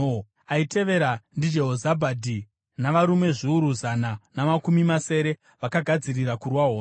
aitevera ndiJehozabhadhi navarume zviuru zana namakumi masere vakagadzirira kurwa hondo.